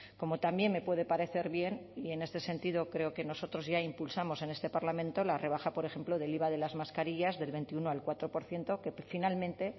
como también me puede parecer bien y en este sentido creo que nosotros ya impulsamos en este parlamento la rebaja por ejemplo del iva de las mascarillas del veintiuno al cuatro por ciento que finalmente